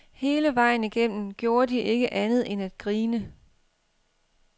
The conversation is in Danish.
Hele vejen igennem gjorde de ikke andet end at grine.